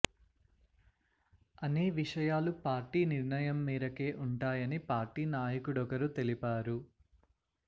అనే విషయాలు పార్టీ నిర్ణయం మేరకే ఉంటాయని పార్టీ నాయకుడొకరు తెలిపారు